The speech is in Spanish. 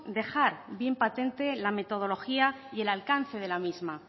dejar bien patente la metodología y el alcance de la misma